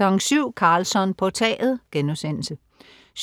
07.00 Karlsson på taget* 07.25